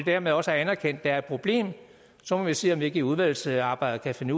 dermed også anerkendt er et problem så må vi se om vi ikke under udvalgsarbejdet kan finde